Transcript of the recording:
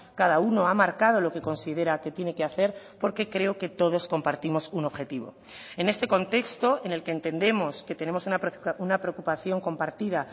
cada uno ha marcado lo que considera que tiene que hacer porque creo que todos compartimos un objetivo en este contexto en el que entendemos que tenemos una preocupación compartida